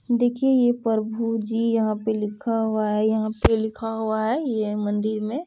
देखिए ये प्रभु जी यहाँ पे लिखा हुआ है यहाँ पे लिखा हुआ है यह मंदिर में।